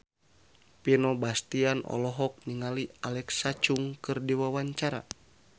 Vino Bastian olohok ningali Alexa Chung keur diwawancara